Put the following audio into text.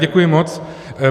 Děkuji mockrát.